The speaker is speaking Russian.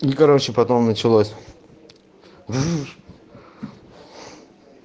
ну короче потом началось